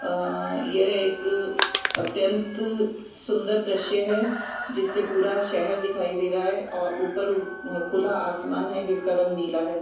अअ यह एक अत्यंत सुंदर दृश्य है जिससे पूरा शहर दिखाई दे रहा है और ऊपर खुला आसमान है जिसका रंग नीला है।